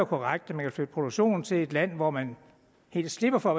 korrekt at man kan flytte produktionen til et land hvor man helt slipper for at